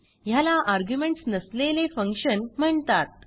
ह्याला आर्ग्युमेंट्स नसलेले फंक्शन म्हणतात